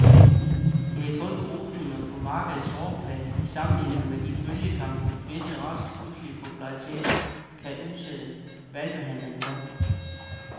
Det er kun krusninger på markedets overflade i sammenligning med den bølgegang, visse racers pludselige popularitet kan udsætte hvalpehandelen for.